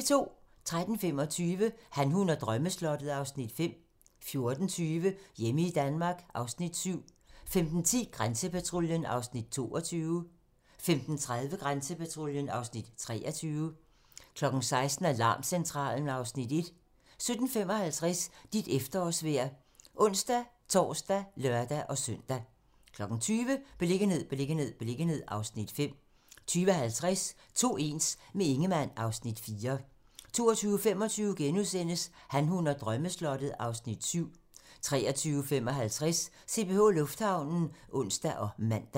13:25: Han, hun og drømmeslottet (Afs. 5) 14:20: Hjemme i Danmark (Afs. 7) 15:10: Grænsepatruljen (Afs. 22) 15:30: Grænsepatruljen (Afs. 23) 16:00: Alarmcentralen (Afs. 1) 17:55: Dit efterårsvejr (ons-tor og lør-søn) 20:00: Beliggenhed, beliggenhed, beliggenhed (Afs. 5) 20:50: To ens - med Ingemann (Afs. 4) 22:25: Han, hun og drømmeslottet (Afs. 7)* 23:55: CPH Lufthavnen (ons og man)